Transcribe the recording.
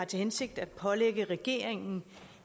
til hensigt at pålægge regeringen